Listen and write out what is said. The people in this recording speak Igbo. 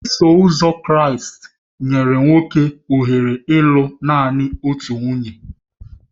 Iso Ụzọ Kraịst nyere nwoke ohere ịlụ nanị otu nwunye